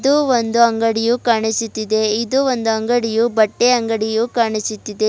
ಮತ್ತು ಒಂದು ಅಂಗಡಿಯು ಕಾಣಿಸುತ್ತಿದೆ ಇದು ಒಂದು ಅಂಗಡಿಯು ಬಟ್ಟೆ ಅಂಗಡಿಯು ಕಾಣಿಸುತ್ತಿದೆ.